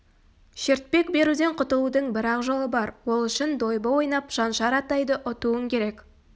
шертпек беруден құтылудың бір-ақ жолы бар ол үшін дойбы ойнап шаншар атайды ұтуың керек